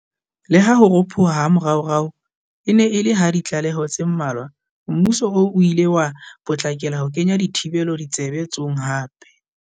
Leha ho ropoha ha moraorao e ne e le ha ditlaleho tse mmalwa, mmuso oo o ile wa potlakela ho kenya dithibelo tshebe tsong hape.